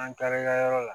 An taara yɔrɔ la